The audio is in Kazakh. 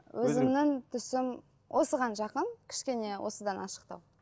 өзімнің түсім осыған жақын кішкене осыдан ашықтау